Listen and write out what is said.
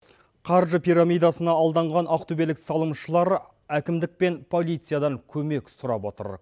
қаржы пирамидасына алданған ақтөбелік салымшылар әкімдік пен полициядан көмек сұрап отыр